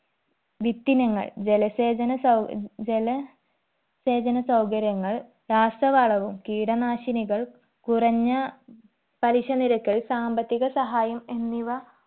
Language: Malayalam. വിത്തിനങ്ങൾ, ജലസേചന സൗ ജല സേചന സൗകര്യങ്ങൾ രാസവളവും കീടനാശിനികൾ കുറഞ്ഞ പലിശ നിരക്കിൽ സാമ്പത്തിക സഹായം എന്നിവ